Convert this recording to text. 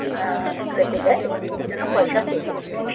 উম রেখে যায় এবং এর জন্য পয়সা পে করতে হয়।